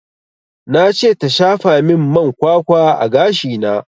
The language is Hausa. Na ce ta shafa min man kwakwa a gashi na